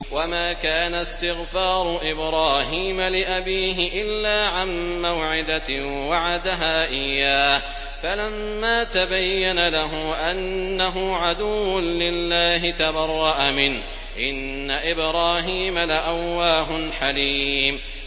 وَمَا كَانَ اسْتِغْفَارُ إِبْرَاهِيمَ لِأَبِيهِ إِلَّا عَن مَّوْعِدَةٍ وَعَدَهَا إِيَّاهُ فَلَمَّا تَبَيَّنَ لَهُ أَنَّهُ عَدُوٌّ لِّلَّهِ تَبَرَّأَ مِنْهُ ۚ إِنَّ إِبْرَاهِيمَ لَأَوَّاهٌ حَلِيمٌ